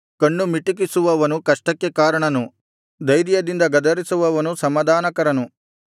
ಕಣ್ಣು ಮಿಟಕಿಸುವವನು ಕಷ್ಟಕ್ಕೆ ಕಾರಣನು ಧೈರ್ಯದಿಂದ ಗದರಿಸುವವನು ಸಮಾಧಾನಕರನು